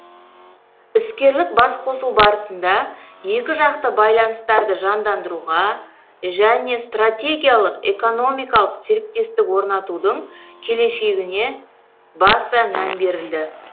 іскерлік басқосу барысында екіжақты байланыстарды жандандыруға және стратегиялық экономикалық серіктестік орнатудың келешегіне баса мән берілді